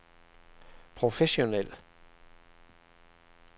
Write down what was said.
professionel